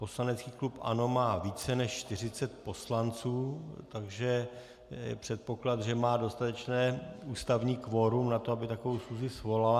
Poslanecký klub ANO má více než 40 poslanců, takže je předpoklad, že má dostatečné ústavní kvorum na to, aby takovou schůzi svolal.